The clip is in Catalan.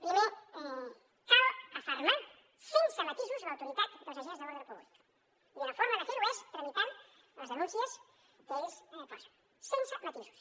primer cal afermar sense matisos l’autoritat dels agents de l’ordre públic i una forma de fer ho és tramitant les denúncies que ells posen sense matisos